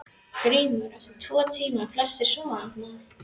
GRÍMUR: Eftir tvo tíma voru flestir sofnaðir.